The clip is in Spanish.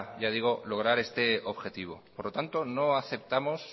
ya digo lograr este objetivo por lo tanto no aceptamos